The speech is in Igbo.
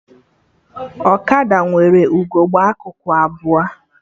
Ọkada nwere ugegbe akụkụ abụọ